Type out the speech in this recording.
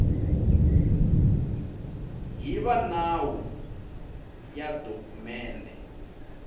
hi va nawu ya dokumende